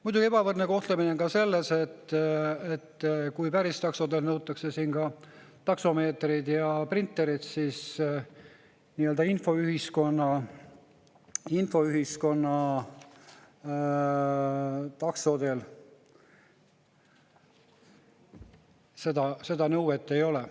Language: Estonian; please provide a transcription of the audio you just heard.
Muidugi on ebavõrdne kohtlemine ka selles, et kui päris taksodelt nõutakse taksomeetreid ja printereid, siis nii-öelda infoühiskonna taksode puhul seda nõuet ei ole.